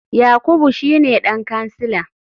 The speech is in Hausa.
Yakubu shine dan kansila.